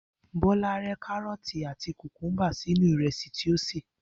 Bó̩lá ré̩ káró̩ò̩tì àti kùkúḿbà sínú ìrè̩sì tí ó sè